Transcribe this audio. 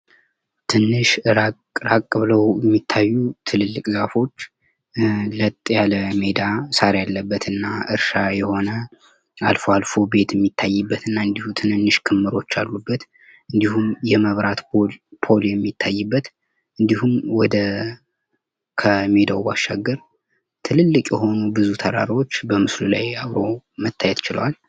ትንሽ ራቅ ራቅ ብለው የሚታዩ ትልልቅ ዛፎች ለጥ ያለ ሜዳ ሳር ያለበት እና እርሻ የሆነ አልፎ አልፎ ቤት የሚታይበት እና እንዲሁም ትንንሽ ክምሮች ያሉበት እንዲሁም የመብራት ፖል እንዲሁም ወደ ከሜዳው ባሻገር ትልልቅ የሆኑ ብዙ ተራራዎች በምስሉ ላይ አብሮ መታየት ችለዋል።